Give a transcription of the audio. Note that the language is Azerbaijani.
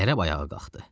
Ərəb ayağa qalxdı.